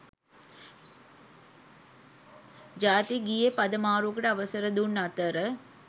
ජාතික ගීයේ පද මාරුවකට අවසර දුන් අතර